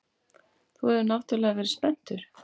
Þú hefur náttúrlega verið spenntur.